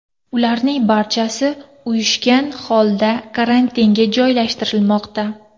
Ularning barchasi uyushgan holda karantinga joylashtirilmoqda.